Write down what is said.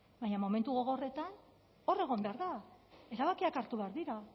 baina momentu gogorretan hor egon behar da erabakiak hartu behar dira